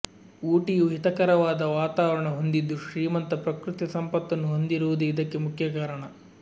ಊಟಿಯು ಹಿತಕರವಾದ ವಾತಾವರಣ ಹೊಂದಿದ್ದು ಶ್ರೀಮಂತ ಪ್ರಕೃತಿ ಸಂಪತ್ತನ್ನು ಹೊಂದಿರುವುದೆ ಇದಕ್ಕೆ ಮುಖ್ಯ ಕಾರಣ